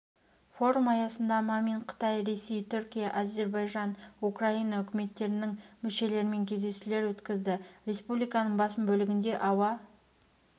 форум аясында мамин қытай ресей түркия әзірбайжан украина үкіметтерінің мүшелерімен кездесулер өткізді республиканың басым бөлігінде ауа